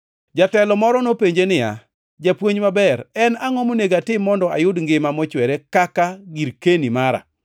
Jatelo moro nopenje niya, “Japuonj maber, en angʼo monego atim mondo ayud ngima mochwere kaka girkeni mara?”